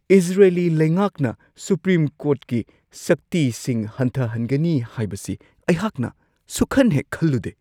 Israeli ꯂꯩꯉꯥꯛꯅ supreme ꯀꯣꯔꯠꯀꯤ ꯁꯛꯇꯤꯁꯤꯡ ꯍꯟꯊꯍꯟꯒꯅꯤ ꯍꯥꯏꯕꯁꯤ ꯑꯩꯍꯥꯛꯅ ꯁꯨꯛꯈꯟꯍꯦꯛ-ꯈꯜꯂꯨꯗꯦ ꯫